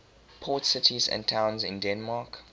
port cities and towns in denmark